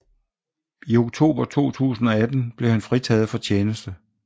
I oktober 2018 blev han fritaget for tjeneste